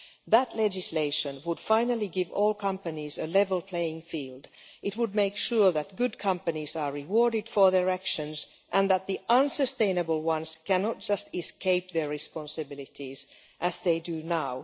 That legislation would finally give all companies a level playing field. It would make sure that good companies are rewarded for their actions, and that the unsustainable ones cannot just escape their responsibilities as they do now.